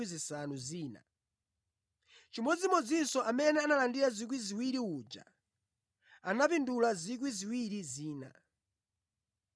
Chimodzimodzinso amene analandira 2,000 uja anapindula 2,000 zina.